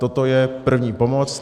Toto je první pomoc.